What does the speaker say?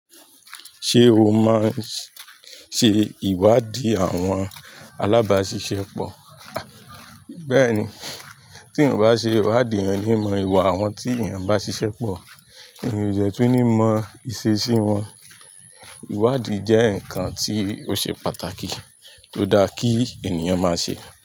Ṣé o máa n ṣe ìwádìí àwọn alábáṣiṣẹ́ pọ̀? Bẹ́ẹ̀ni, tí eeyan ò bá ṣe ìwádìí ẹeyan o ni mọ ìwà àwọn tí eeyán bá ṣiṣẹ́ pọ̀, eeyàn o de tún ní mọ ìṣesí wọn. Ìwádìí jẹ́ ǹkan tí ó ṣe pàtàkì tó dá kí ènìyàn máa ṣe.